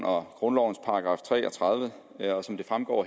om grundlovens § tre og tredive og som det fremgår